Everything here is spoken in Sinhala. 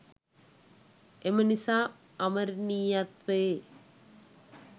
එම නිසා අමරණීයත්වයේත්